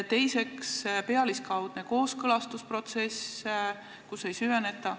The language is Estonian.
Teiseks, pealiskaudne kooskõlastusprotsess, kus ei süveneta.